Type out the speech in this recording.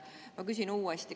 Ma küsin uuesti.